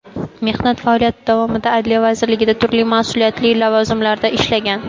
Mehnat faoliyati davomida Adliya vazirligida turli mas’uliyatli lavozimlarda ishlagan.